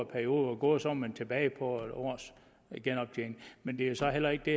periode var gået var man tilbage på en års genoptjening men det er så heller ikke det